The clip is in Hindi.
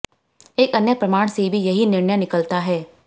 एक अन्य प्रमाण से भी यही निर्णय निकलता है